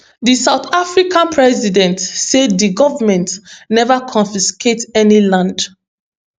di south african president say di goment neva confiscate any land